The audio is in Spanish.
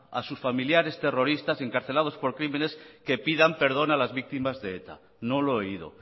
a sus familiares terroristas encarcelados por crímenes que pidan perdón a las víctimas de eta no lo he oído